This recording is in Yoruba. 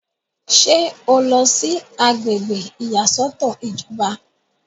ṣé o lọ sí agbègbè ìyàsọ́tọ̀ ìjọba?